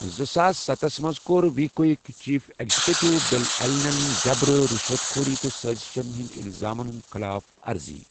زٕساس ستَس منٛز کوٚر وی کوٕک چیف ایگزیکٹو بل ایلنَن جَبٕر، رِشوت خوری تہٕ سٲزِشَن ہٕنٛدۍ الزامَن ہُنٛد خَلاف ارضی۔